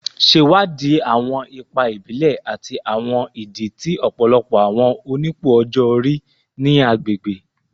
Ṣewadii awọn ipa ibile ati awọn idi ti ọpọlọpọ awọn onipò ọjọ-ori ni agbegbe